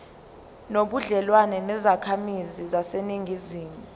nobudlelwane nezakhamizi zaseningizimu